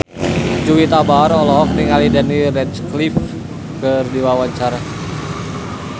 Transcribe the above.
Juwita Bahar olohok ningali Daniel Radcliffe keur diwawancara